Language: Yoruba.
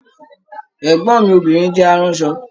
Ẹgbọn mi obìnrin jẹ àrànsọ.